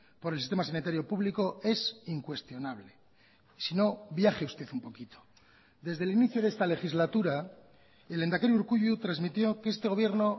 por el sistema sanitario público es incuestionable si no viaje usted un poquito desde el inicio de esta legislatura el lehendakari urkullu transmitió que este gobierno